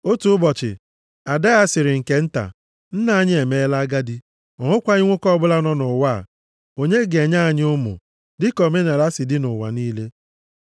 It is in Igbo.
Otu ụbọchị, ada ya sịrị nke nta, “Nna anyị emeela agadi, ọ nwekwaghị nwoke ọbụla nọ nʼụwa a, onye ga-enye anyị ụmụ, dịka omenaala si dị nʼụwa niile.